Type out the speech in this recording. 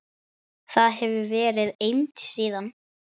Þar hefur verið eymd síðan.